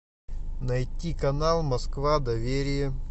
найти канал москва доверие